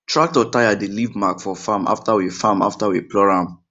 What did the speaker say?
tractor tyre dey leave mark for farm after we farm after we plough am